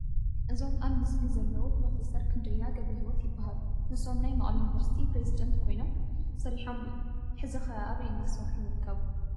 እዞም ኣብ ምስሉ ዘለዉ ፕሮፌሰር ክንደያ ገብረህይወት ይበሃሉ፡፡ ንሶም ናይ መቐለ ዩኒቨርሲቲ ፕሬዝዳንት ኮይኖም ሰሪሖም እዮም፡፡ ሕዚ ኸ ኣበይ እናሰርሑ ይርከቡ?